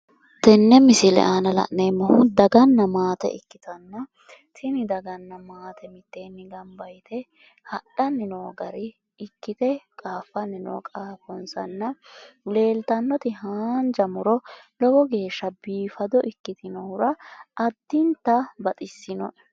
Tenne misile aana la'neemmohu daganna maate ikkitanna tini daganna maate mitteenni gamba yite hadhanni noo gari ikkite qaaffanni noo qaafonsanna leeltannoti haanja muro lowo geeshsha biifado ikkitinohura addinta baxissinoe.